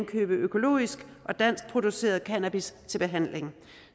købe økologisk og danskproduceret cannabis til behandling